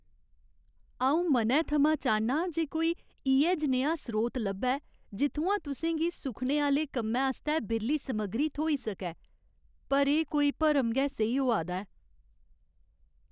अऊं मनै थमां चाह्न्नां जे कोई इ'यै जनेहा स्रोत लब्भै जित्थुआं तुसें गी सुखने आह्‌ले कम्मै आस्तै बिरली समग्री थ्होई सकै पर एह् कोई भरम गै सेही होआ दा ऐ।